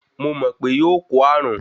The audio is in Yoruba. Mo mọ̀ pe yóò kó ààrùn.